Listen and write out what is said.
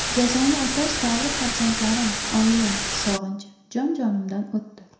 Jazoni o‘tash davri farzandlarim, oilam sog‘inchi jon-jonimdan o‘tdi.